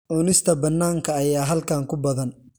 Cunista bannaanka ayaa halkan ku badan.